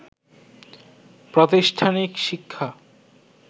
প্রাতিষ্ঠানিক শিক্ষা